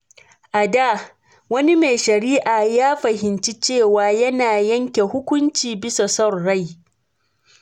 A da, wani mai shari’a ya fahimci cewa yana yanke hukunci bisa son rai.